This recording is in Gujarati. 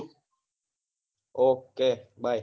okay bye